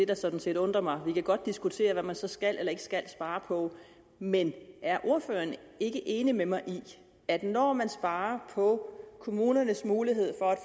der sådan set undrer mig vi kan godt diskutere hvad man så skal eller ikke skal spare på men er ordføreren ikke enig med mig i at når man sparer på kommunernes mulighed